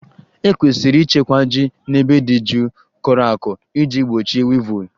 E kwesịrị ịchekwa ji n'ebe dị jụụ, kọrọ ako iji gbochie wivụl